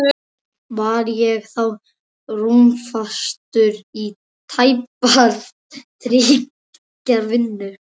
Var ég þá rúmfastur í tæpar þrjár vikur.